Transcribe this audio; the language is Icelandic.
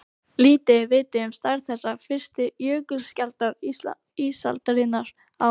Lítið er vitað um stærð þessara fyrstu jökulskjalda ísaldarinnar á